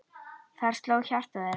Þar sló hjarta þeirra.